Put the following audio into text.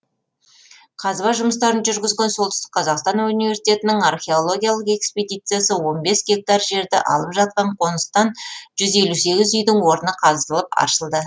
қазба жұмыстарын жүргізген солтүстік қазақстан университетінің археологиялық экспедициясы он бес гектар жерді алып жатқан қоныстан жүз елу сегіз үйдің орны қазылып аршылды